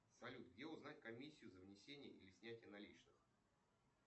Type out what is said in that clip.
салют где узнать комиссию за внесение или снятие наличных